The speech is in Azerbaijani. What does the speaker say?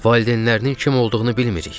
Valideynlərinin kim olduğunu bilmirik.